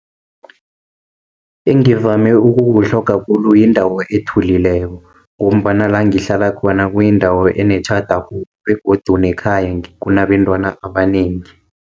Engivame ukukutlhoga khulu, yindawo ethulileko, ngombana langihlala khona kuyindawo enetjhada khulu, begodu nekhaya kunabentwana abanengi.